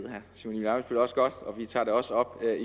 nu også godt og vi tager det også op